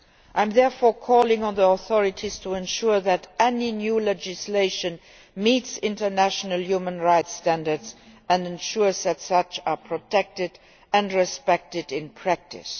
I am therefore calling on the authorities to ensure that any new legislation meets international human rights standards and ensures that these are protected and respected in practice.